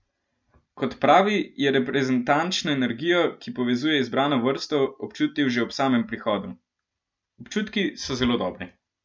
Kot pravi, je reprezentančno energijo, ki povezuje izbrano vrsto, občutil že ob samem prihodu: "Občutki so zelo dobri.